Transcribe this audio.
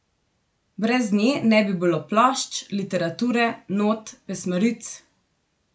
Brez nje ne bi bilo plošč, literature, not, pesmaric ...